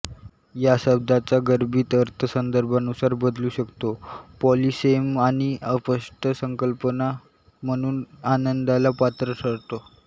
या शब्दाचा गर्भित अर्थ संदर्भानुसार बदलू शकतो पॉलीसेम आणि अस्पष्ट संकल्पना म्हणून आनंदाला पात्र ठरतो